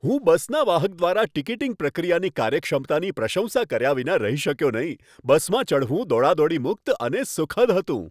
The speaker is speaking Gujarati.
હું બસના વાહક દ્વારા ટિકિટિંગ પ્રક્રિયાની કાર્યક્ષમતાની પ્રશંસા કર્યા વિના રહી શક્યો નહીં. બસમાં ચઢવું દોડાદોડી મુક્ત અને સુખદ હતું.